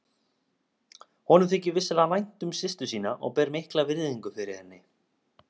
Honum þykir vissulega vænt um systur sína og ber mikla virðingu fyrir henni.